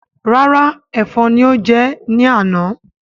Rárá èfọn ni ó jẹ ẹ ní àná